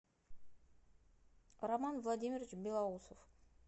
роман владимирович белоусов